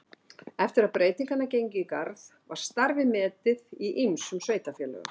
Eftir að breytingarnar gengu í garð var starfið metið í ýmsum sveitarfélögum.